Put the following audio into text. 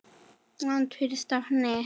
Land fyrir stafni!